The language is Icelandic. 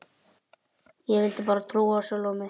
Ég vildi bara trúa á sjálfa mig.